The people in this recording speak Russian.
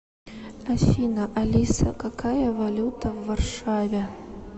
афина алиса какая валюта в варшаве